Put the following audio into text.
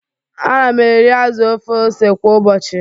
Ana m eri azụ ofe ose kwa ụbọchị